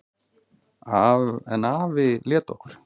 En afi lét okkur